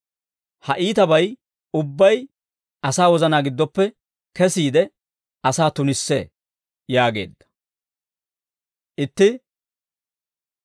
Ha iitabay ubbay asaa wozanaa giddoppe kesiide, asaa tunissee» yaageedda.